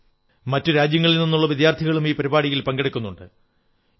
ഇപ്രാവശ്യം മറ്റു രാജ്യങ്ങളിൽ നിന്നുള്ള വിദ്യാർഥികളും ഈ പരിപാടിയിൽ പങ്കെടുക്കുന്നുണ്ട്